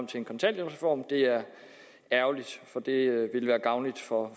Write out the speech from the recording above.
til en kontanthjælpsreform det er ærgerligt for det ville være gavnligt for